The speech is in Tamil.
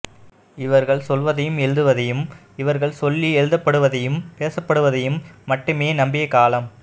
இவர்கள் சொல்வதையும் எழுதுவதையும் இவர்கள் சொல்லி எழுதப்படுவதையும் பேசப்படுவதையும் மட்டுமே நம்பிய காலம்